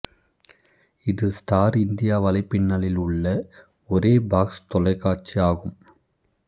இது star India வலைப்பின்னலில் உள்ள ஒரே பாக்சு தொலைக்காட்சி ஆகும்